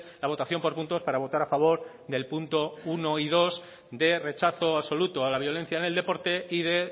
la votación por puntos para votar a favor del punto uno y dos de rechazo absoluto a la violencia en el deporte y de